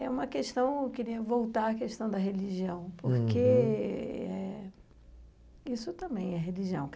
É uma questão, eu queria voltar à questão da religião, porque eh isso também é religião.